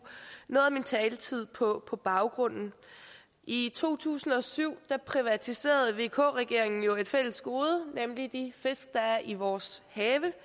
noget af min taletid på baggrunden i to tusind og syv privatiserede vk regeringen jo et fælles gode nemlig de fisk der er i vores have